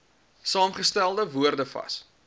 saamgestelde woorde vas